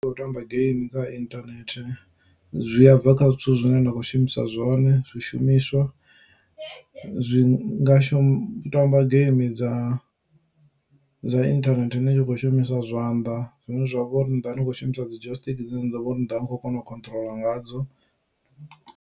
Ndi u tamba game kha internet zwi a bva kha zwithu zwine na khou shumisa zwone zwishumiswa zwi nga u tamba geimi dza dza inthanethe ni tshi kho shumisa zwanḓa zwine zwa vha uri ni ḓovha ni kho shumisa dzi jostiki dzine ndi ḓo vha uri ni ḓovha ni kho kona u khotrola ngadzo.